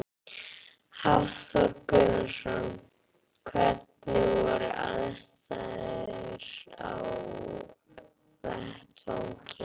Hafþór Gunnarsson: Hvernig voru aðstæður á vettvangi?